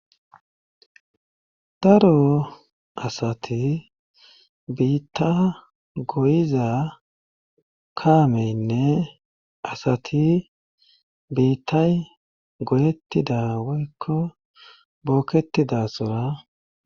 Daro asati biitta goyiza kaameynne asati biittay godettida woykko bookketidasora